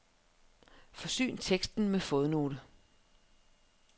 Forsyn teksten med fodnote.